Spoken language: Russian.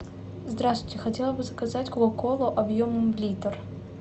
здравствуйте хотела бы заказать кока колу объемом литр